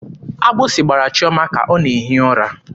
Agbụsị gbara Chiọma ka ọ na-ehi ụra.